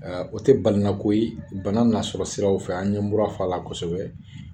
Ɛ o te balina ko ye bana n'a sɔrɔ siraw fɛ an ye mura fɔ a la kosɛbɛ